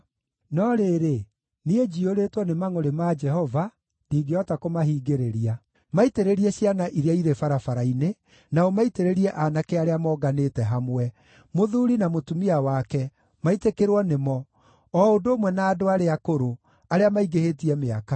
No rĩrĩ, niĩ njiyũrĩtwo nĩ mangʼũrĩ ma Jehova, ndingĩhota kũmahingĩrĩria. “Maitĩrĩrie ciana iria irĩ barabara-inĩ, na ũmaitĩrĩrie aanake arĩa monganĩte hamwe; mũthuuri na mũtumia wake, maitĩkĩrwo nĩmo, o ũndũ ũmwe na andũ arĩa akũrũ, arĩa maingĩhĩtie mĩaka.